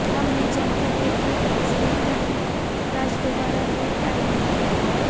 हम नहीं चाहते हैं कि इंस्पेक्टर राज दोबारा लौट आए